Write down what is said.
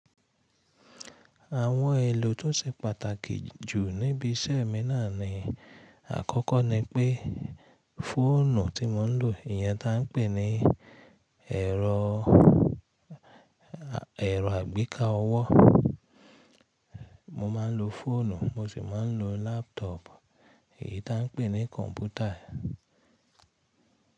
Àwọn èlò tó ṣe pàtàkì jù níbi iṣẹ́ mi náà ni àkọ́kọ́ ni pé fóònù tí mo ń lò, ìyẹn tá ń pè ní ẹ̀rọ, ẹ̀rọ àgbékà ọwọ. Mo máa ń lo fóònù, mo sì máa ń lo laptop, èyí tá ń pè ní kọ̀ǹpútà.